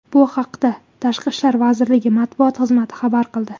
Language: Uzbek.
Bu haqda Tashqi ishlar vazirligi matbuot xizmati xabar qildi .